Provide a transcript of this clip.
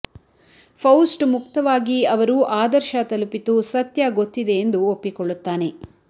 Faust ಮುಕ್ತವಾಗಿ ಅವರು ಆದರ್ಶ ತಲುಪಿತು ಸತ್ಯ ಗೊತ್ತಿದೆ ಎಂದು ಒಪ್ಪಿಕೊಳ್ಳುತ್ತಾನೆ